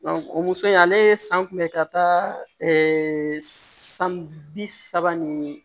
o muso in ale ye san kunbɛ ka taa san bi saba ni